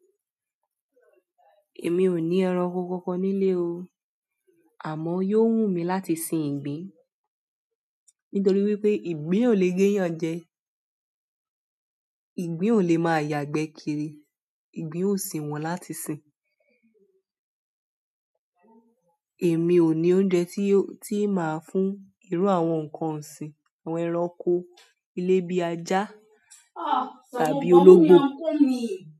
Èmi ò ní ẹran oko kankan nílé o, àmọ́ yóò wù mí láti sin ìgbín, nítorí wípé ìgbín ò le géyàn jẹ, ìgbín ò lè máa yagbe kiri, ìgbín ó sì wọ́n láti sin. Èmi ò ní oúnjẹ tí máa fún irú àwọn ǹkan ọ̀sìn, àwọn ẹran oko ilé bíi ajá tàbí ológbò.